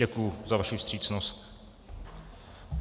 Děkuji za vaši vstřícnost.